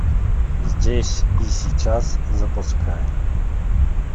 здесь и сейчас запускай